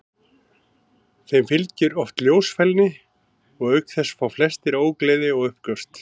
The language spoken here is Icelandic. Þeim fylgir oft ljósfælni og auk þess fá flestir ógleði og uppköst.